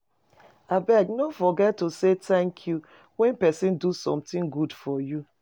Abeg, no forget to say thank you when person do something good for you